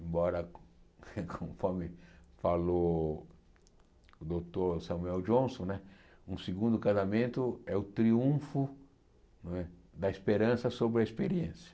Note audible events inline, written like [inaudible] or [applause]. Embora, [laughs] conforme falou o doutor Samuel Johnson né, um segundo casamento é o triunfo não é da esperança sobre a experiência.